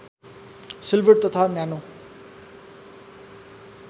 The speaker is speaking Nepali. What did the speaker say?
सिल्भर तथा नानो